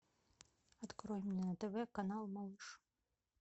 открой мне на тв канал малыш